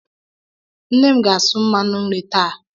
Nne m ga-asụ mmanụ nri taa.